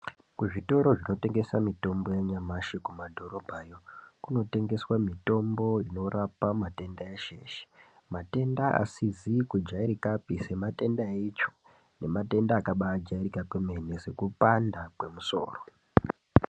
Kuzvitoro zvinotengesa mitombo yanyamashi kumadhorobha yoo, kunotengeswa mitombo inorapa matenda eshe eshe matenda asizi kujairika pii sematenda eichoo nematenda akabaa jairika kwemene sekupanda kwemusoro.